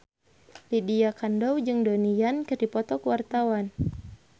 Lydia Kandou jeung Donnie Yan keur dipoto ku wartawan